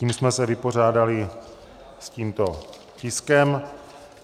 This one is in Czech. Tím jsme se vypořádali s tímto tiskem.